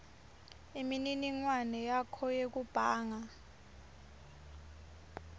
imininingwane yakho yekubhanga